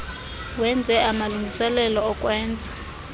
wenze amalungiselelo okwenza